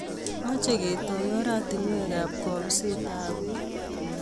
Mache ketoy oratinwek ab kabiset ab peek